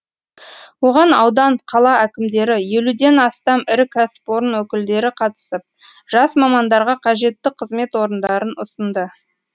оған аудан қала әкімдері елуден астам ірі кәсіпорын өкілдері қатысып жас мамандарға қажетті қызмет орындарын ұсынды